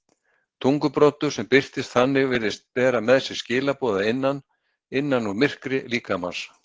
Tungubroddur sem birtist þannig virðist bera með sér skilaboð að innan, innan úr myrkri líkamans.